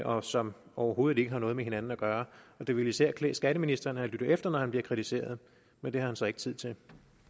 og som overhovedet ikke har noget med hinanden at gøre det ville især klæde skatteministeren at lytte efter når han bliver kritiseret men det har han så ikke tid til